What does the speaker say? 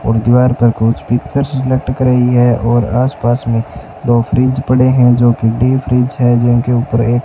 और दीवार पर कुछ पिक्चर लटक रही है और आस पास में दो फ्रिज पड़े हैं जो की डी फ्रिज है जिनके ऊपर एक --